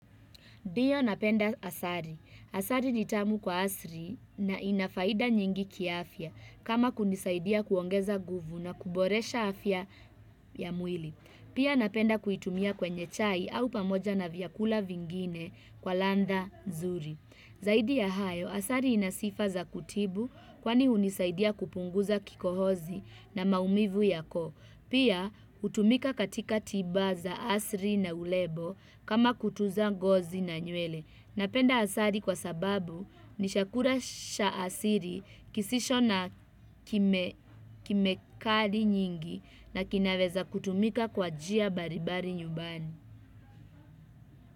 Ndiyo napenda asari. Asari ni tamu kwa asri na ina faida nyingi kiafya kama kunisaidia kuongeza nguvu na kuboresha afya ya mwili. Pia napenda kuitumia kwenye chai au pamoja na vyakula vingine kwa landha zuri. Zaidi ya hayo, asari ina sifa za kutibu kwani hunisaidia kupunguza kikohozi na maumivu ya koo. Pia hutumika katika tiba za asri na ulebo kama kutuza ngozi na nywele. Napenda asari kwa sababu ni shakura sha asiri kisisho na kimekadi nyingi na kinaweza kutumika kwa njia baribari nyumbani.